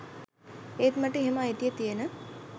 ඒත් මට එහෙම අයිතිය තියෙන